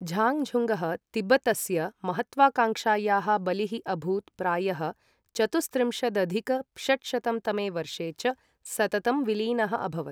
झाङ्गझुङ्गः तिब्बतस्य महत्त्वाकाङ्क्षायाः बलिः अभूत् प्रायः चतुस्त्रिंशदधिक षट्शतं तमे वर्षे च सततं विलीनः अभवत्।